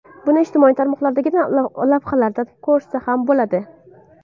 Buni ijtimoiy tarmoqlardagi lavhalardan ko‘rsa ham bo‘ladi.